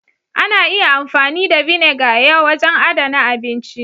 Ana iya amfani da " vinegar " ya wajen adana abinci.